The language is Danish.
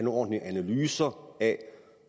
ordentlige analyser af